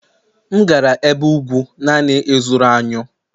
M ga-aga n'ebe ugwu naanị ịzụrụ anyụ